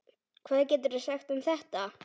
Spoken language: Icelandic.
Hvað geturðu sagt um þetta?